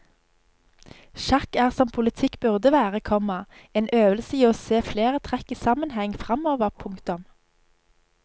Sjakk er som politikk burde være, komma en øvelse i å se flere trekk i sammenheng fremover. punktum